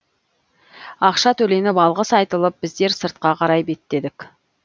ақша төленіп алғыс айтылып біздер сыртқа қарай беттедік